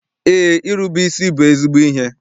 Eé, irube isi bụ ezigbo ihe.